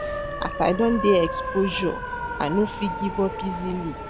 As I don dey exposure, I no fit give up easily.